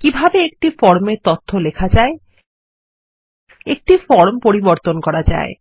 কিভাবে একটি ফর্ম এ তথ্য লেখা যায় একটি ফর্ম পরিবর্তন করা যায়